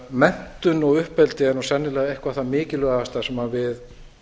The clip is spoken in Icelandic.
menntun og uppeldi er sennilega eitthvað það mikilvægasta sem við